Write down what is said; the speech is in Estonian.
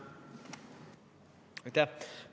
Aitäh!